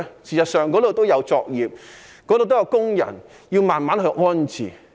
事實上，那裏也有作業、也有工人，要慢慢安置。